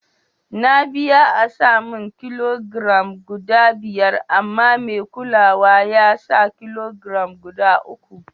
Na biya a'sa mun ƙilogiram guda biyar amma mai kulawa ya sa ƙilogiram guda uku.